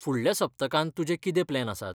फुडल्या सप्तकांत तुजे कितें प्लॅन आसात?